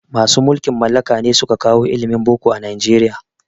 Masu mulkin mallaka ne suka kawo ilimin boko a Nijeriya